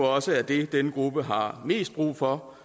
også er det denne gruppe har mest brug for